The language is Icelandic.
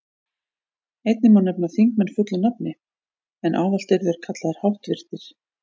Einnig má nefna þingmenn fullu nafni, en ávallt eru þeir kallaðir háttvirtir.